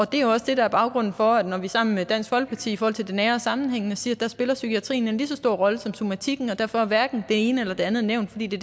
det er også det der er baggrunden for at vi sammen med dansk folkeparti i forhold til det nære sammenhængende siger at der spiller psykiatrien en lige så stor rolle som somatikken derfor er hverken det ene eller det andet nævnt fordi det